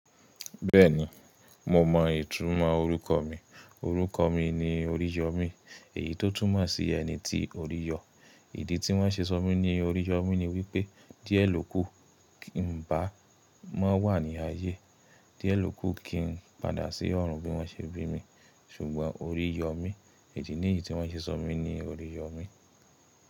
Bẹ́ẹ̀ni, mo mọ ìtumọ̀ orúkọ mi. Orúkọ mi ni Oríyọ́mí, èyí tó túmọ̀ sí ẹni ti orí yọ. Ìdí tí wọ́n ṣe sọ mí ní Oríyọ́mí ni wípé díẹ̀ ló kù ń bá má wà ní ayé. Díẹ̀ ló kù kí n padà sí ọ̀run bí wọ́n ṣe bí mi. Ṣùgbọ́n orí yọ mí. Èyí ni ìdí tí wọ́n ṣe sọ mí ní Oríyọ́mí.